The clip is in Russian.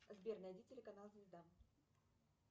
сбер найди телеканал звезда